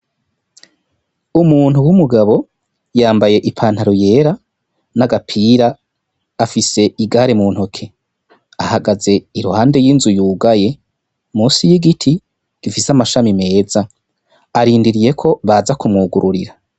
Umuntu w'umugabo yambaye ipantaro y'era n'agapira afise igare mu ntoke ahagaze iruhande y'inzu yugaye munsi y'igiti gifise amashami meza arindiriye ko baza kumwugururira.